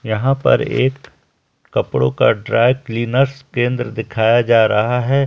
यहां पर एक कपड़ो का ड्राय क्लिनर्स केंद्र दिखाया जा रहा है।